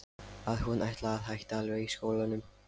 Að hún ætlaði að hætta alveg í skólanum.